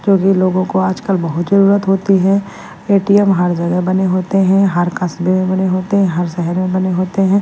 क्योंकि लोगों को आजकल बहुत जरूरत होती है ए_टी_एम हर जगह बने होते हैं हर कस्बे में बने होते हैं हर शहर में बने होते हैं।